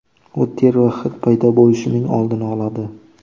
U ter va hid paydo bo‘lishining oldini oladi.